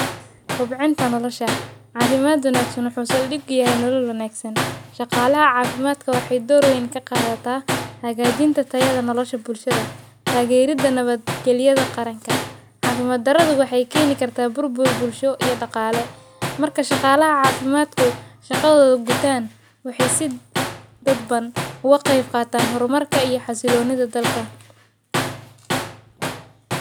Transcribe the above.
Kub cinta nolosha. Caafimaadunaagsan xusuusun dhib ga yahay nololu naagso. Shaqaalaha caafimaadka waxay door weyn ka qaadata hagaajinta tayada nolosha bulshada, taageerida nabadgeliyada qaranka. Caafimaad daraduhu waxay keeni kartaa burbur bulsho iyo dhaqaale. Marka shaqaalaha caafimaadku shaqadood gutaan, waxy si dadban u waqay faaqaataan horumarka iyo xasiloonida dalka.